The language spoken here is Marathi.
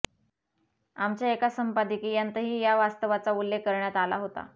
आमच्या एका संपादकीयांतही या वास्तवाचा उल्लेख करण्यात आला होता